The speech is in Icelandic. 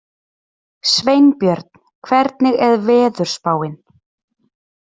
Sveinbjörn, hvernig er veðurspáin?